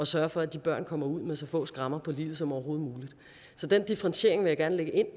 sørge for at de børn kommer ud med så få skrammer i livet som overhovedet muligt så den differentiering vil jeg gerne lægge ind